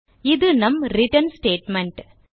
இது நம் return statement